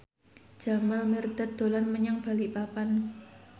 Jamal Mirdad dolan menyang Balikpapan